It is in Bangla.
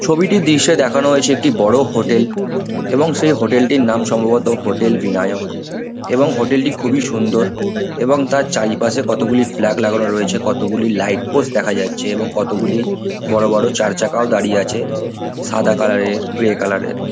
ছবিটির দৃশ্যে দেখানো হয়েছে একটি বড়ো হোটেল এবং সেই হোটেল টির নাম সম্ভবত হোটেল ভিনায়ক এবং হোটেল টি খুবই সুন্দর এবং তার চারিপাশে কতগুলি ফ্ল্যাগ লাগানো রয়েছে কতগুলি লাইটপোস্ট দেখা যাচ্ছে এবং কতগুলি বড়ো বড়ো চার চাকাও দাঁড়িয়ে আছে সাদা কালার - এরগ্রে কালার - এর।